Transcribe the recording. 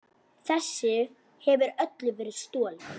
Þessu hefur öllu verið stolið!